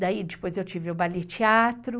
Daí, depois, eu tive o Ballet Teatro.